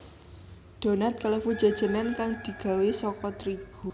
Donat kalebu jajanan kang digawé saka trigu